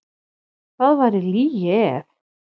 Það væri lygi ef.